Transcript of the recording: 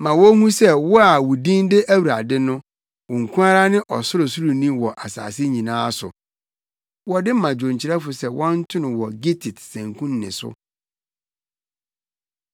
Ma wonhu sɛ wo a wo din de Awurade no, wo nko ara ne Ɔsorosoroni wɔ asase nyinaa so. Wɔde ma dwonkyerɛfo sɛ wɔnto no wɔ gittit sanku nne so.